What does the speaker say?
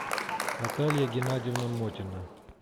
наталья геннадьевна мотина